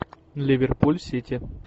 ливерпуль сити